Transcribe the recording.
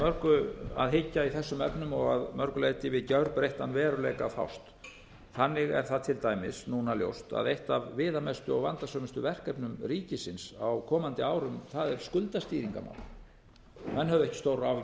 mörgu að hyggja í þessum efnum og að mörgu leyti við gjörbreyttan veruleika að fást þannig er það til dæmis núna ljóst að eitt af viðamestu og vandasömustu verkefnum ríkisins á komandi árum það er skuldastýringarmál menn höfðu ekki stórar áhyggjur af